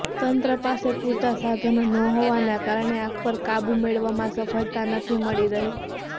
તંત્ર પાસે પુરતા સાધનો ન હોવાના કારણે આગ પર કાબુ મેળવવામાં સફળતા નથી મળી રહી